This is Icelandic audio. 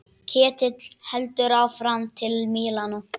Ketill heldur áfram til Mílanó.